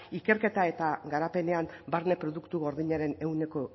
ikerketa eta garapenean barne produktu gordinaren ehuneko